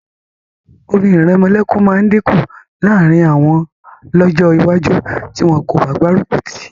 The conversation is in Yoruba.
Orin ìrẹmọlẹ́kun máa dínkù láàrín àwọn lọ́jọ́ iwájú tí wọn kò bá gbárùkù tì í